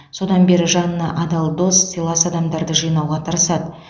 содан бері жанына адал дос сыйлас адамдарды жинауға тырысады